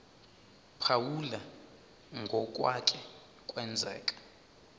phawula ngokwake kwenzeka